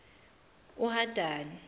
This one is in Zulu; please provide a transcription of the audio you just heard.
uhadani